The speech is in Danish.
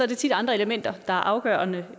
det tit andre elementer der er afgørende